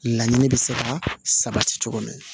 Laɲini bɛ se ka sabati cogo min na